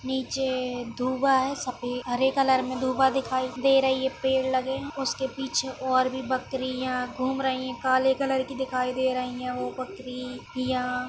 नीचे धुवा है सफे-हरे कलर मैं धुवा दिखाई दे रही है। पेड़ लगे हैं उसके पीछे और भी बकरियां घूम रही हैं काले कलर की दिखाई दे रही हैं वो बकरि यां --